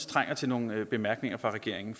trænger til nogle bemærkninger fra regeringen